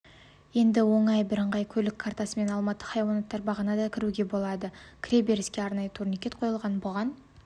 енді оңай бірыңғай көлік картасымен алматы хайуанаттар бағына да кіруге болады кіреберіске арнайы турникет қойылған бұған